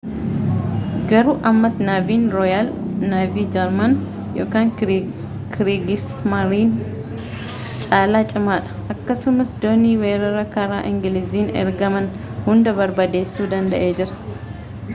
garuu ammas naaviin rooyaal naavii jarman kiriigismaariin caala cimaadha akkasumas doonii weerara karaa engiliiziin ergaman hunda barbadeessuu danda’ee jira